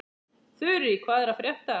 Þurí, hvað er að frétta?